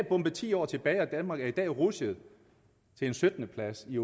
bombet ti år tilbage og danmark er i dag rutsjet til en syttende plads i